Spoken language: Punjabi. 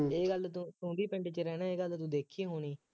ਇਹ ਗੱਲ ਤੂੰ ਤੁੰ ਵੀ ਪਿੰਡ ਚ ਰਹਿੰਦਾ ਇਹ ਗੱਲ ਤੂੰ ਦੇਖੀ ਹੋਣੀ